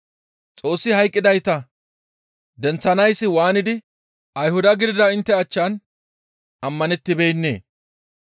Xoossi hayqqidayta denththanayssi waanidi Ayhuda gidida intte achchan ammanettibeennee?